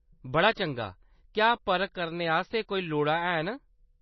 बड़ा चंगा ! क्या परख आस्तै कोई लोड़ां हैन ?